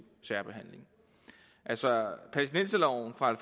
særbehandling altså palæstinenserloven fra